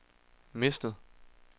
mistet